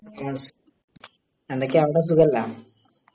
എന്തൊക്കെയാ. അവിടെ സുഖാല്ലെ